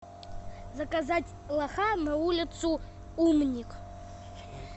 заказать лоха на улицу умник